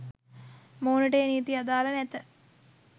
මොවුනට ඒ නීති අදාළ නැත